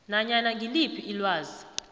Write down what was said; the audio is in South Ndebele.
nanyana ngiliphi ilwazi